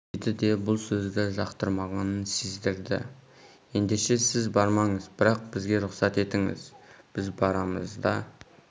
деді де бұл сөзді жақтырмағанын сездірді ендеше сіз бармаңыз бірақ бізге рұқсат етіңіз біз барамыз да